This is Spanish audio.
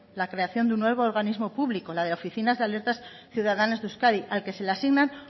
la creación de un nuevo organismo público la de oficinas de alertas ciudadanas de euskadi al que se le asignan